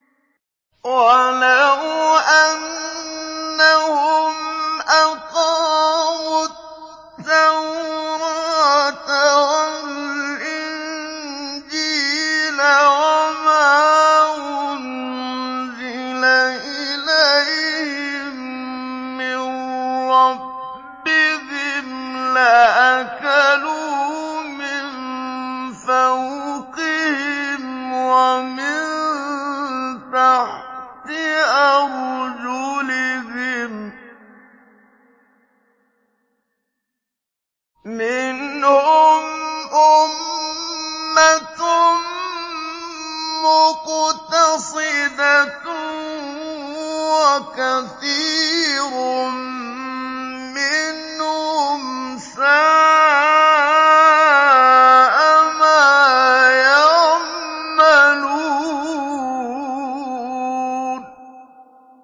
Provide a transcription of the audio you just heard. وَلَوْ أَنَّهُمْ أَقَامُوا التَّوْرَاةَ وَالْإِنجِيلَ وَمَا أُنزِلَ إِلَيْهِم مِّن رَّبِّهِمْ لَأَكَلُوا مِن فَوْقِهِمْ وَمِن تَحْتِ أَرْجُلِهِم ۚ مِّنْهُمْ أُمَّةٌ مُّقْتَصِدَةٌ ۖ وَكَثِيرٌ مِّنْهُمْ سَاءَ مَا يَعْمَلُونَ